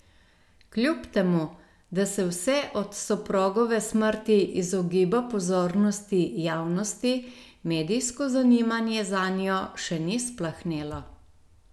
Kljub temu, da se vse od soprogove smrti izogiba pozornosti javnosti, medijsko zanimanje zanjo še ni splahnelo.